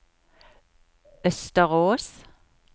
Østerås